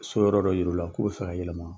So yɔrɔ dɔ yir'u la k'u bɛ fɛ ka yɛlɛma.